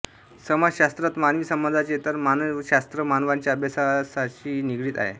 समाजषास्त्रात मानवी समाजाचे तर मानवषास्त्र मानवाच्या अभ्यासाषी निगडीत आहे